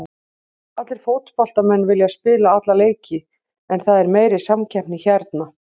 Allir fótboltamenn vilja spila alla leiki en það er meiri samkeppni hérna.